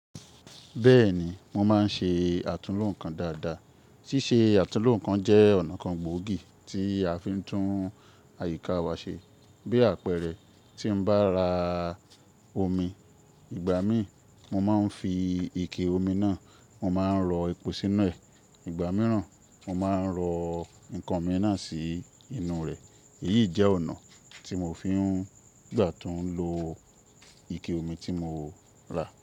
Bẹ́ẹ̀ni, mo máa ń ṣe àtulò ǹkan dáadáa. Síse àtulò ǹkan jẹ́ ọ̀nà kan gbòógì tí a fi ń tún àyíká wa ṣe. Bí àpẹẹrẹ, tí n bá ra omi, ìgbà míì mo máa ń fi ike omi náà, mo máa ń rọ epo sínú ẹ. Ìgbà mìíràn, mo máa ń rọ ǹkan mì naa sì inú rẹ̀. Èyíyi jẹ́ ọ̀nà tí mo fi ń gbà tun lo ike omi tí mo rà.